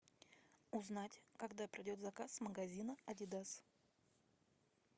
узнать когда придет заказ с магазина адидас